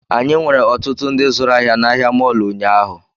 Anyị nwere ọtụtụ ndị zụrụ ahịa na ahịa mọọlụ ụnyaahụ